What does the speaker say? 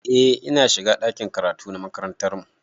Eh ina shiga ɗakin karatu na makarantar mu